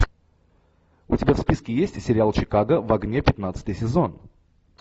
у тебя в списке есть сериал чикаго в огне пятнадцатый сезон